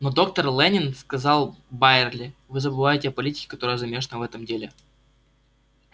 но доктор лэннинг сказал байерли вы забываете о политике которая замешана в этом деле